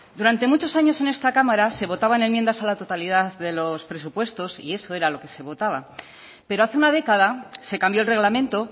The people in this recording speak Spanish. durante muchos años en esta cámara se votaban enmiendas a la totalidad de los presupuestos y eso era lo que se votaba pero hace una década se cambió el reglamento